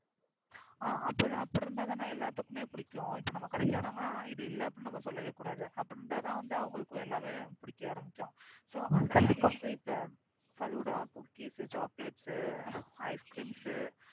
ஆ அப்படி இருந்தாதான் எல்லாத்துக்குமே பிடிக்கும். இப்ப நம்ம கடைக்கு வராங்க னா இது இல்லன்னு அப்டினு நம்ம சொல்லவே கூடாது. அப்படியிருந்தாதான் அவர்களுக்கு எல்லாமே பிடிக்க ஆரம்பிக்கும். so falooda cookies chocolates ice crem